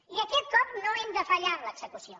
i aquest cop no hem de fallar en l’execució